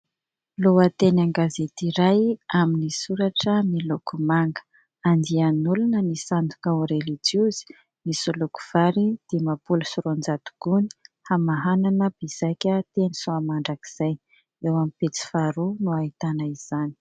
Lohateny an-gazety iray amin'ny soratra miloko manga : "andian'olona misandoka ho relijiozy nisoloky vary dimampolo sy roanjato gony hamahanana mpizaika teny Soamandrakizay", eo amin'ny pejy faharoa no ahitana izany.